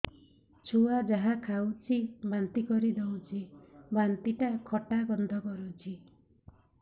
ଛୁଆ ଯାହା ଖାଉଛି ବାନ୍ତି କରିଦଉଛି ବାନ୍ତି ଟା ଖଟା ଗନ୍ଧ କରୁଛି